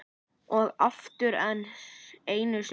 Og oftar en einu sinni.